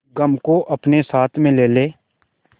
गम को अपने साथ में ले ले